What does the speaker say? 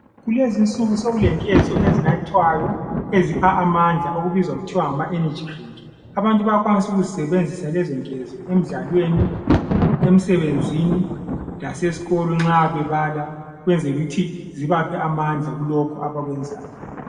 Kulezinsuku sekulenkezo ezinathwayo ezipha amandla okuthiwa ngama "energy drink". Abantu bayakwanisa ukuzidebenzisa lezo nkezo emidlalweni, emisebenzini lasesikolo nxa bebala ukwenzela ukuthi zibaphe amandla kulokho abakwenzayo.